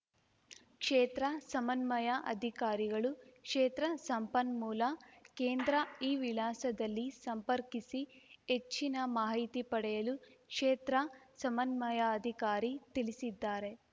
ಕ್ಷೇತ್ರ ಸಮನ್ಮಯಾ ಅಧಿಕಾರಿಗಳು ಕ್ಷೇತ್ರ ಸಂಪನ್ಮೂಲ ಕೇಂದ್ರ ಈ ವಿಳಾಸದಲ್ಲಿ ಸಂಪರ್ಕಿಸಿ ಹೆಚ್ಚನ ಮಾಹಿತಿ ಪಡೆಯಲು ಕ್ಷೇತ್ರ ಸಮನ್ಮಯಾಧಿಕಾರಿ ತಿಳಿಸಿದ್ದಾರೆ